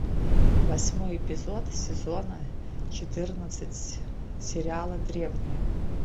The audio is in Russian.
восьмой эпизод сезона четырнадцать сериала древние